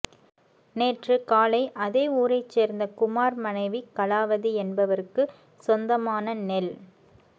நேற்று காலை அதே ஊரைச் சேர்ந்த குமார் மனைவி கலாவதி என்பவருக்கு சொந்தமான நெல்